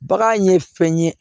Bagan ye fɛn ye